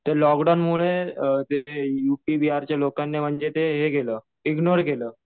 ते लोकडाऊन मुले ते यूपी बिहारच्या लोकांनी म्हणजे ते हे केलं, इग्नोर केलं.